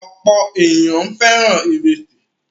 Ọ̀pọ̀ ènìyàn fẹ́ràn ìrẹsì.